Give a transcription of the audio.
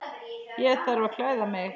Ég þarf að klæða mig.